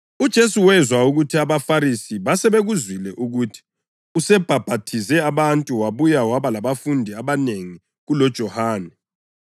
UJesu wezwa ukuthi abaFarisi basebekuzwile ukuthi usebhaphathize abantu wabuye waba labafundi abanengi kuloJohane,